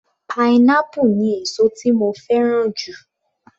Pineapple ni èsó tí mo fẹ́ràn jù.